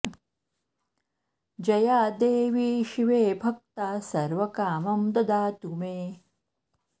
जया देवी शिवे भक्ता सर्व कामं ददातु मे